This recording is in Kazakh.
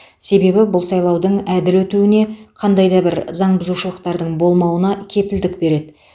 себебі бұл сайлаудың әділ өтуіне қандай да бір заңбұзушылықтардың болмауына кепілдік береді